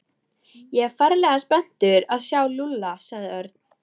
Ég er ferlega spenntur að sjá Lúlla sagði Örn.